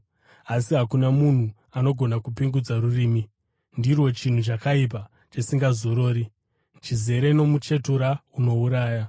asi hakuna munhu anogona kupingudza rurimi. Ndirwo chinhu chakaipa chisingazorori, chizere nomuchetura unouraya.